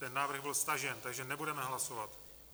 Ten návrh byl stažen, takže nebudeme hlasovat.